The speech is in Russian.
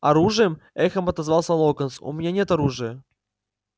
оружием эхом отозвался локонс у меня нет оружия